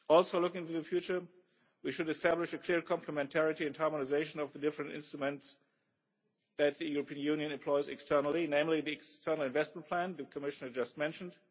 Also looking to the future, we should establish a clear complementarity and harmonisation of the different instruments that the European Union employs externally, namely the External Investment Plan the Commissioner just mentioned